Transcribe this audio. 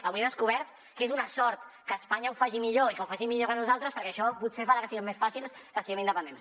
avui he descobert que és una sort que espanya ho faci millor i que ho faci millor que nosaltres perquè això potser farà que sigui més fàcil que siguem independents